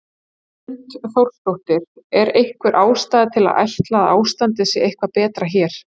Hrund Þórsdóttir: Er einhver ástæða til að ætla að ástandið sé eitthvað betra hér?